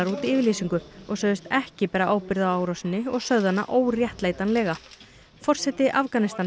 út yfirlýsingu og sögðust ekki bera ábyrgð á árásinni og sögðu hana óréttlætanlega forseti Afganistan